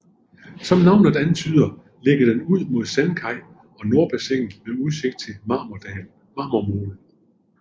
Som navnet antyder ligger den ud mod Sandkaj og Nordbassinet med udsigt til Marmormolen